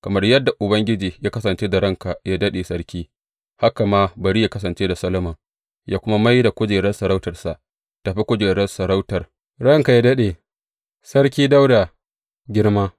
Kamar yadda Ubangiji ya kasance da ranka yă daɗe, sarki, haka ma bari yă kasance da Solomon, yă kuma mai da kujerar sarautarsa tă fi kujerar sarautar ranka yă daɗe, Sarki Dawuda, girma!